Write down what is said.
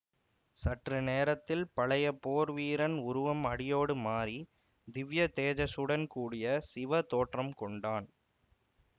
சற்று நேரத்தில் பழைய போர் வீரன் உருவம் அடியோடு மாறி திவ்ய தேஜஸுடன் கூடிய சிவ தோற்றம் கொண்டான்